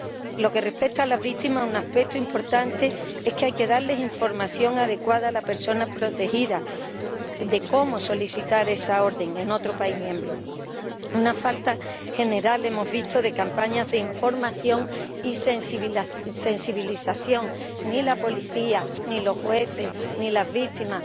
Por lo que respecta a las víctimas, un aspecto importante es que hay que darle información adecuada a la persona protegida de cómo solicitar esa orden en otro Estado miembro. Una falta general, hemos visto, de campañas de información y sensibilización ni la policía, ni los jueces, ni las víctimas...